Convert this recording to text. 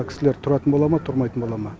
кісілер тұратын бола ма тұрмайтын бола ма